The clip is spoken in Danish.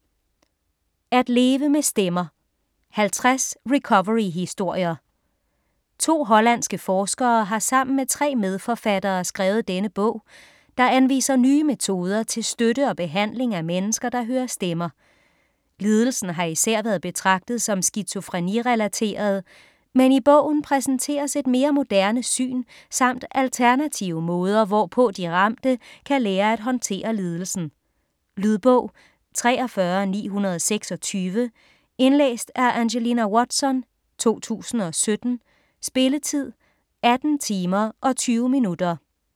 At leve med stemmer: 50 recoveryhistorier 2 hollandske forskere har sammen med 3 medforfattere skrevet denne bog, der anviser nye metoder til støtte og behandling af mennesker, der hører stemmer. Lidelsen har især været betragtet som skizofreni-relateret, men i bogen præsenteres et mere moderne syn samt alternative måder, hvorpå de ramte kan lære at håndtere lidelsen. Lydbog 43926 Indlæst af Angelina Watson, 2017. Spilletid: 18 timer, 20 minutter.